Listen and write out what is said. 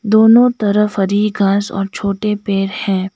दोनो तरफ हरी घास और छोटे पेड़ हैं।